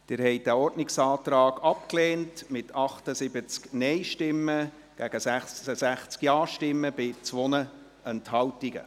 Sie haben diesen Ordnungsantrag abgelehnt, mit 78 Nein- gegen 66 Ja-Stimmen bei 2 Enthaltungen.